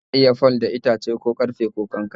ana iya fal da itace ,ko karfe ko, Kankare